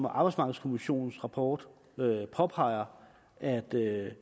arbejdsmarkedskommissionens rapport påpeger at det